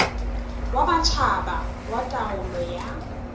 wa matjhaba wa taolo ya